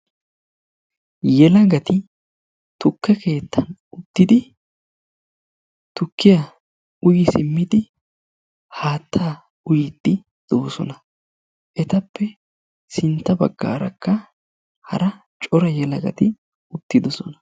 Yelagati tukke keettan uttidi tukkiyaa uyi siimmidi haattaa uyiidi de'oosona. Etappe sintta baggaarakka hara cora yelagati uttidoosona.